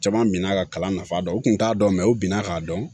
Caman mina ka kalan nafa dɔn u kun t'a dɔn u bina k'a dɔn